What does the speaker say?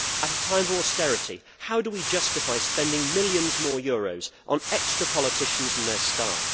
At a time of austerity, how do we justify spending millions more euros on extra politicians and their staff?